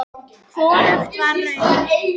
Hvorugt var raunin.